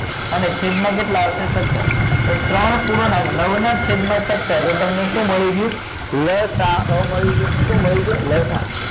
અને છેદ માં કેટલા આવશે સત્તર તો ત્રણ ના નવ ના છેદ માં સત્તર એ તમને શું મળી ગયું લસા અ મળી ગયું શું મળી ગયું લસા અ